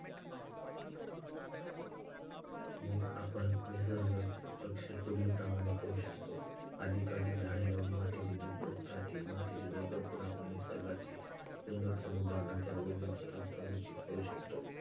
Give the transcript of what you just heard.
आपण निसर्ग रक्षण पुढीलप्रमाणे करू शकतो. अधिकाधिक झाडे लावून मातीची धूप रोखता येते. मातीची धूप रोखून आम्ही निसर्गाचे सुंदर समुद्र, नद्या आणि ozone थर यांचे संरक्षण करू शकतो.